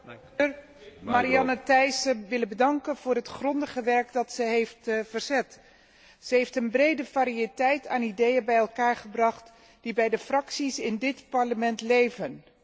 Voorzitter, ik zou Marianne Thyssen willen bedanken voor het grondige werk dat zij heeft verzet. Ze heeft een brede variëteit aan ideeën bij elkaar gebracht die bij de fracties in dit Parlement leven.